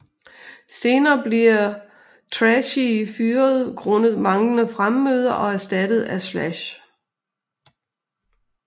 Senere bliver Tracii fyret grundet manglende fremmøde og erstattet af Slash